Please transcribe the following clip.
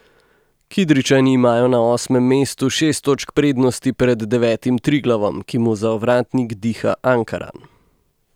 Kidričani imajo na osmem mestu šest točk prednosti pred devetim Triglavom, ki mu za ovratnik diha Ankaran.